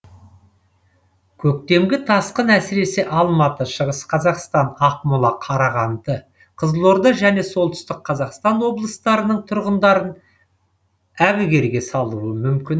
көктемгі тасқын әсіресе алматы шығыс қазақстан ақмола қарағанды қызылорда және солтүстік қазақстан облыстарының тұрғындарын әбігерге салуы мүмкін